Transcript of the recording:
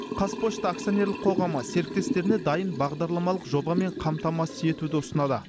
қазпошта акционерлік қоғамы серіктестеріне дайын бағдарламалық жобамен қамтамасыз етуді ұсынады